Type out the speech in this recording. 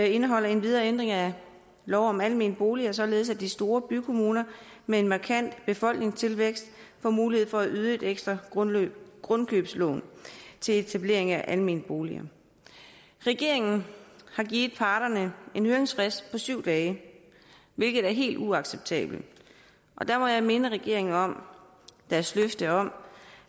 indeholder endvidere en ændring af lov om almene boliger således at de store bykommuner med en markant befolkningstilvækst får mulighed for at yde et ekstra grundkøbslån til etablering af almene boliger regeringen har givet parterne en høringsfrist på syv dage hvilket er helt uacceptabelt der må jeg minde regeringen om dens løfte om